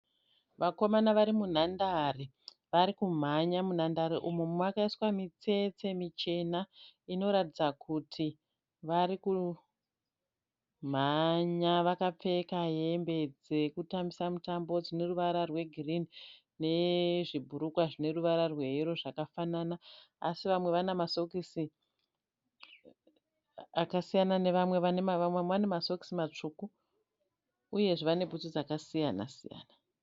Vakomana vari munhandare vari kumhanya. Munhandare umu makaiswa mitsetse michena inoratidza kuti varikumhanya. Vapfeka hembe dzekutambisa mutambo dzine ruvara rwegirini nezvibhurukwa zvine ruvara rweyero zvakafanana asi vamwe vane masokisi akasiyana nemamwe. Vamwe vane masokisi matsvuku uyezve vane bhutsu dzakasiyana siyana.